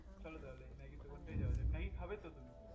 চলো তাহলে maggi এর দোকানটাই যাওয়া যাক maggi খাবে তো তুমি